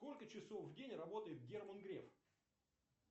сколько часов в день работает герман греф